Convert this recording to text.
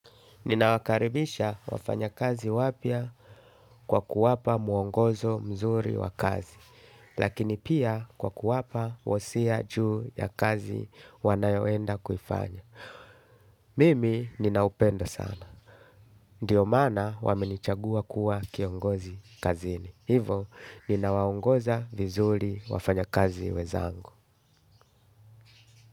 Nina wakaribisha wafanya kazi wapia kwa kuwapa muongozo mzuri wakazi, lakini pia kwa kuwapa wosia juu ya kazi wanayoenda kufanya. Mimi ninaupendo sana. Ndiyo mana waminichagua kuwa kiongozi kazini. Hivo, ninawaongoza vizuri wafanya kazi weza angu.